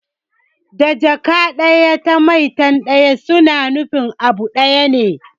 Da Jaka ɗaya da maitan ɗaya suna nufin abu ɗaya ne